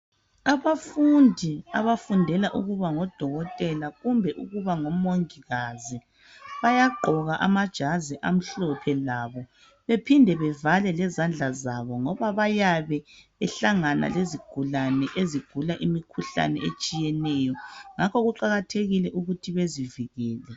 Abafundi abafundela ukuba ngodokotela kumbe ukuba ngomongikazi bayagqoka amajazi amhlophe labo bephinde bevale lezandla zabo ngoba bayabe behlangana lezigulane ezigula imikhuhlane etshiyeneyo ngakho kuqakathekile ukuthi bezivikele.